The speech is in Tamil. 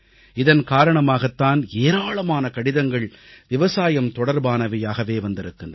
இதன் காரணமாகத் தான் ஏராளமான கடிதங்கள் விவசாயம் தொடர்பானவையாகவே வந்திருக்கின்றன